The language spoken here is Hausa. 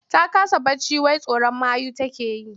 Ta kasa barci wai tsoron mayu take yi.